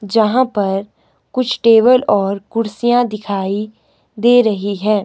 जहां पर कुछ टेबल और कुर्सियां दिखाई दे रही है।